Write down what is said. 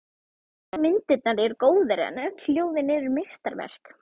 Flestar myndirnar eru góðar, en öll ljóðin eru meistaraverk.